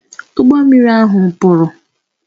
Ụgbọ mmiri ahụ kpuru